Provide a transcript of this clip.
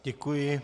Děkuji.